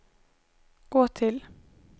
gå till